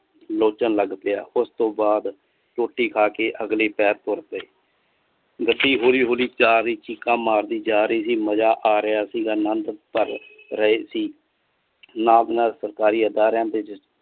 ਲੋਚਨ ਲੱਗ ਪਿਆ ਉਸਤੋਂ ਬਾਅਦ ਰੋਟੀ ਖਾਕੇ ਅਗਲੇ ਪਹਰ ਤੁਰ ਪਏ ਗੱਡੀ ਹੋਲੀ ਹੋਲੀ ਪਿਆਰੀ ਚੀਕਾਂ ਮਾਰਦੀ ਜਾ ਰਾਇ ਸੀ ਮਜਾ ਆ ਰਿਆ ਸੀਗਾ ਰਹੇ ਸੀ। ਨਾਲ ਨਾਲ ਸਰਕਾਰੀ ਅਧਾਰਾ ਦੇ ਜਿਸ